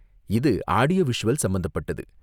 இது audio visual சம்பந்தப்பட்டது.